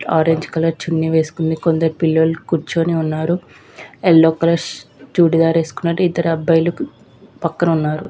Orange colour చుని వేసుకొని కొందరు పిల్లు కూర్చొని ఉన్నారు. ఎలో కలర్ చూడి దార్ వేసుకొని ఐదారు అబ్బాయిలు నిల్చొని ఉన్నారు.